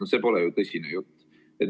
No see pole ju tõsine jutt!